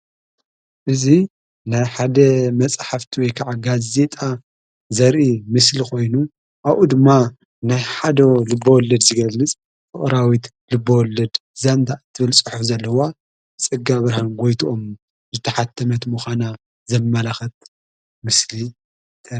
እዙ ናይ ሓደ መጽሕፍቲ ወከዓ ጋዜጣ ዘሪኢ ምስሊ ኾይኑ ኣኡ ድማ ናይ ሓዶ ልብወለድ ዚገልምጽ ፍቕራዊት ልበወለድ ዛንታ እትብል ጽሑፍ ዘለዋ ጽጋ ብርሀን ጐይትኦም ዘተሓተመት ምዃና ዘመላኸት ምስሊ